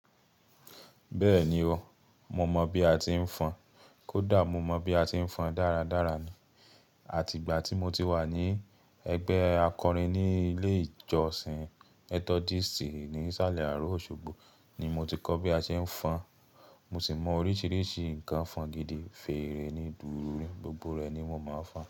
Bẹ́ẹ̀ni o, mo mọ bi a ti ń fọn kódà mo mọ bi a ti ń fọn dáradára ni. Àtìgbà tí mo ti wà ní ẹgbẹ́ akọrin ní ilé ìjọsìn Methodist ní ìsàlẹ̀ àárọ̀ Osogbo ni mo ti kọ́ bí a ṣe ń fọn. Mo sì mọ oríṣiríṣi nǹkan fọn gidi, fèrè ni, dùùrù, gbogbo rẹ̀ ni wọ́n máa ń fọn.